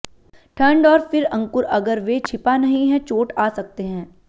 ठंड और फिर अंकुर अगर वे छिपा नहीं है चोट आ सकते हैं